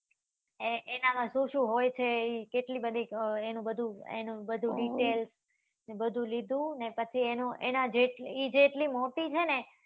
એ એના માં શું શું હોય છે કેટલી બધી એનું બધું એનું બધું details બધું લીધું એના જેટલી એ જેટલી મોટી છે ને